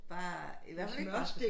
Bare i hvert fald ikke brasede